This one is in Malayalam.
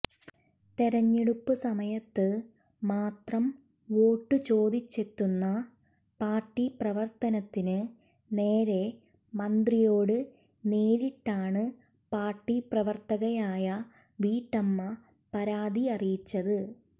തെരഞ്ഞെടുപ്പ് സമയത്ത് മാത്രം വോട്ട് ചോദിച്ചെത്തുന്ന പാര്ട്ടി പ്രവര്ത്തനത്തിന് നേരെ മന്ത്രിയോട് നേരിട്ടാണ് പാര്ട്ടി പ്രവര്ത്തകയായ വീട്ടമ്മ പരാതി അറിയിച്ചത്